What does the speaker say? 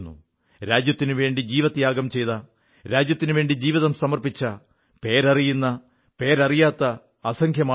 രാജ്യത്തിനുവേണ്ടി ജീവത്യാഗം ചെയ്ത രാജ്യത്തിനുവേണ്ടി ജീവിതം സമർപ്പിച്ച പേരറിയുന്ന പേരറിയാത്ത അസംഖ്യം ആളുകൾ